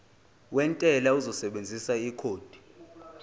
wentela uzosebenzisa ikhodi